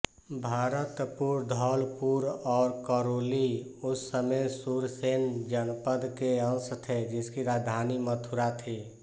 भरतपुर धौलपुर और करौली उस समय सूरसेन जनपद के अंश थे जिसकी राजधानी मथुरा थी